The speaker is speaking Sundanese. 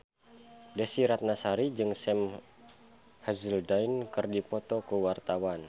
Desy Ratnasari jeung Sam Hazeldine keur dipoto ku wartawan